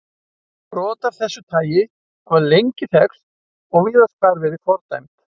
Brot af þessu tagi hafa lengi þekkst og víðast hvar verið fordæmd.